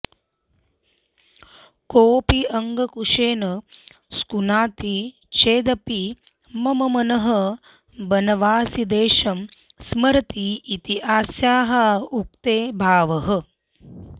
कोऽपि अङ्कुशेन स्कुनाति चेदपि मम मनः बनवासिदेशं स्मरति इति अस्याः उक्तेः भावः